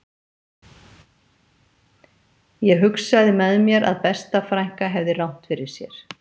Ég hugsaði með mér að besta frænka hefði rangt fyrir sér